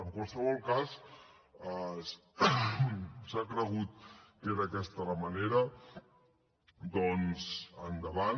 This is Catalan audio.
en qualsevol cas s’ha cregut que era aquesta la manera doncs endavant